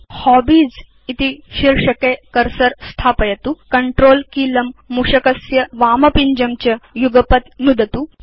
अधुना हॉबीज इति शीर्षके बाणं स्थापयतु Controlकीलं मूषकस्य वामपिञ्जं च युगपत् नुदतु